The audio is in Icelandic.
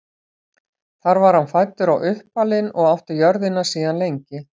þar var hann fæddur og uppalinn og átti jörðina síðan lengi